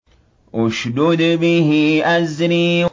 اشْدُدْ بِهِ أَزْرِي